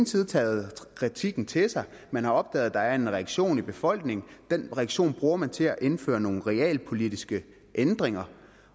side taget kritikken til sig man har opdaget at der er en reaktion i befolkningen og den reaktion bruger man til at indføre nogle realpolitiske ændringer